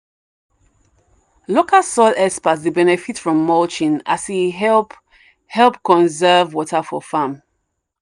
local soil experts dey benefit from mulching as e help help conserve water for farm.